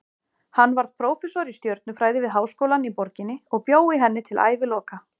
Hann varð prófessor í stjörnufræði við háskólann í borginni og bjó í henni til æviloka.